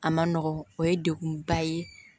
A ma nɔgɔn o ye degunba ye